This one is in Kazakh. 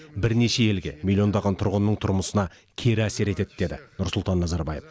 бірнеше елге миллиондаған тұрғынның тұрмысына кері әсер етеді деді нұрсұлтан назарбаев